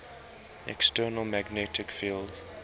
external magnetic field